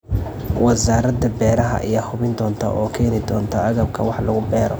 Wasaaradda Beeraha ayaa hubin doonta oo keeni doonta agabka wax lagu beero.